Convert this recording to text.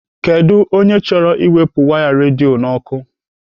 Kedụ onye chọrọ iwepụ waya redio n'ọkụ?